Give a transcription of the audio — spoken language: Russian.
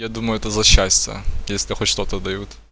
я думаю это за счастье если хоть что-то дают